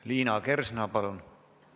Liina Kersna, palun!